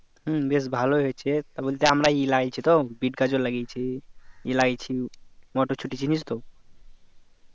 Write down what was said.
হম বেশ ভালোই হচ্ছে তা বলতে আমরা ই লাগাইছি তো বিট গাজর লাগিয়েছি ই লাগাইছি মোটরসুটি চিনিস তো